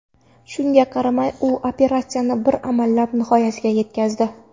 Shunga qaramay, u operatsiyani bir amallab nihoyasiga yetkazdi.